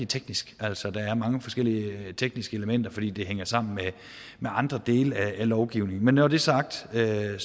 teknisk altså der er mange forskellige tekniske elementer fordi det hænger sammen med andre dele af lovgivningen men når det er sagt er jeg